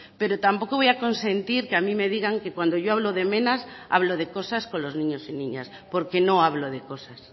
pero tampoco voy a consentir que a mí me digan que cuando yo hablo de menas hablo de cosas con los niños y niñas porque no hablo de cosas